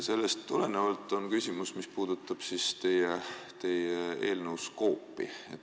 Sellest tulenevalt on küsimus, mis puudutab teie eelnõu skoopi.